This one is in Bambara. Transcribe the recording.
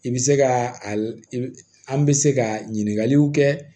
I bɛ se ka a bɛ se ka ɲininkaliw kɛ